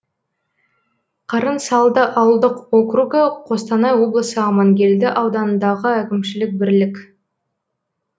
қарынсалды ауылдық округі қостанай облысы амангелді ауданындағы әкімшілік бірлік